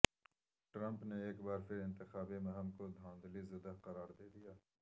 Trump نے ایک بار پھر انتخابی مہم کو دھاندلی زدہ قرار دے دیا